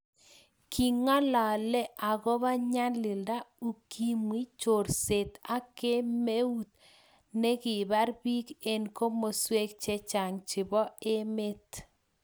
king'alale akobo nyalilda, ukimwi, chorset ak kemeut ne kibar biik eng komoswek chechang chebo emet